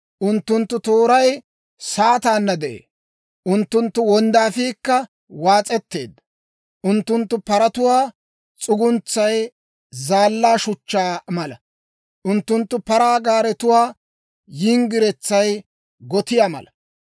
Unttunttu tooray saataanna de'ee; unttunttu wonddaafiikka waas'etteedda. Unttunttu paratuwaa s'uguntsay zaallaa shuchchaa mala; unttunttu paraa gaaretuwaa yinggiretsay gotiyaa mala.